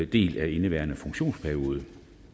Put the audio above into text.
del af indeværende funktionsperiode